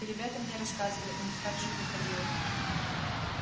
и ребята мне рассказывали у них так же выходило